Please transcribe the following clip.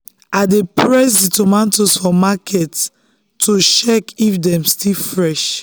i dey press di tomatoes for market to check if dem still fresh.